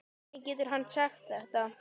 Hvernig getur hann sagt þetta?